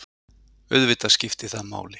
Auðvitað skipti það máli.